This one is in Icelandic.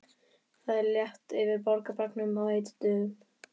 Það er létt yfir borgarbragnum á heitum dögum.